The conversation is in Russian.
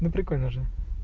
ну прикольно же